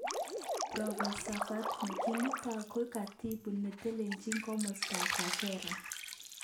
Prof.Fatma kimutai koik Katibu netelelchin komostan Kagera.